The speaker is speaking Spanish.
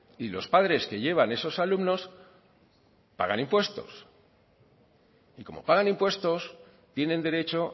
y los padres que llevan esos alumnos pagan impuestos y como pagan impuestos tienen derecho